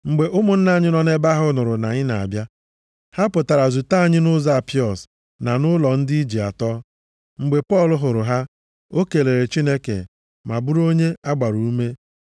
Mgbe ụmụnna anyị nọ nʼebe ahụ nụrụ na anyị na-abịa. Ha pụtara zute anyị nʼụzọ Apiọs na nʼụlọ ndị Ije atọ. Mgbe Pọl hụrụ ha, o kelere Chineke ma bụrụ onye a gbara ume.